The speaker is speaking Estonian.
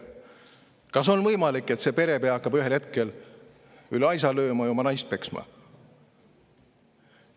Kas on võimalik, et perepea hakkab ühel hetkel üle aisa lööma ja oma naist peksma?